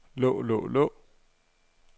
lå lå lå